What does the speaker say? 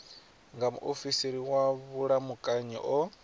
nga muofisiri wa vhulamukanyi o